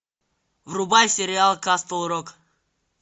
врубай сериал касл рок